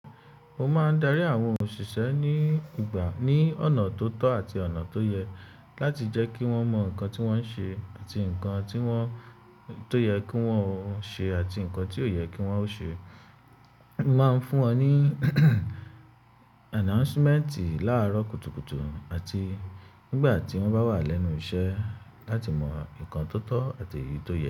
Mo máa ń darí àwọn òṣìṣẹ́ ní ìgbà ní ọ̀nà tó tọ́ àti ọ̀nà tó yẹ láti jẹ́ kí wọ́n mọ nǹkan tí wọ́n ń ṣe àti nǹkan tí o yẹ kí wọ́n ó ṣe àti nǹkan tí ò yẹ kí wọ́n ó ṣe. Mo máa ń fún wọn ní announcement láàárọ̀ kùtùkùtù àti nígbà tí wọ́n bá wà lẹ́nu iṣẹ́ láti mọ nǹkan tó tọ́ àti eyi tó yẹ.